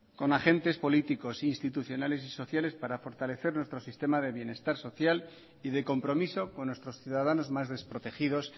con agentes políticos e institucionales y sociales para fortalecer nuestro sistema de bienestar social y de compromiso con nuestros ciudadanos más desprotegidos